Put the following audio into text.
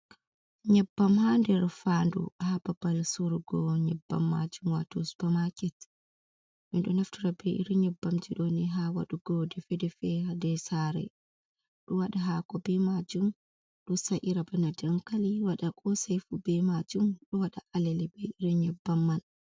Nyebbam ha nder fandu ha babal surugo nyebbam majum wato supamaket, ɓe ɗo naftira be iri nyebbamji doni ha waɗugo defe defe hader sare, ɗo waɗa hako be majum, do sa’ira bana dankali, wada kosaifu be majum, ɗo waɗa alele be iri nyebbam man.